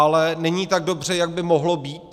Ale není tak dobře, jak by mohlo být.